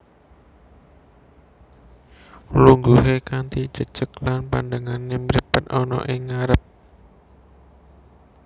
Lungguhe kanthi jejeg lan pandengane mripat ana ing ngarep